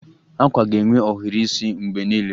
Akwa ga-enwe ohiri isi mgbe niile